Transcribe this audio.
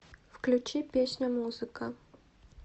включи песня музыка